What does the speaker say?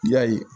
Yali